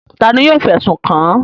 Ta ni yóò fẹ̀sùn kàn án?